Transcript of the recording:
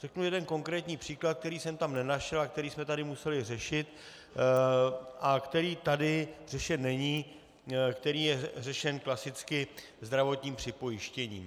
Řeknu jeden konkrétní příklad, který jsem tam nenašel a který jsme tady museli řešit a který tady řešen není, který je řešen klasicky zdravotním připojištěním.